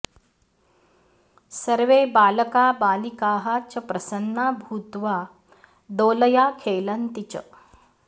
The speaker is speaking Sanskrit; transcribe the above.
सर्वे बालका बालिकाः च प्रसन्ना भूत्वा दोलया खेलन्ति च